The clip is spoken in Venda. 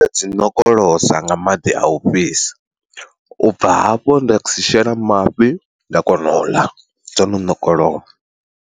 Dzi ṋokolosa nga maḓi a u fhisa, ubva hafho nda dzi shela mafhi nda kona u ḽa dzo no nokolowa.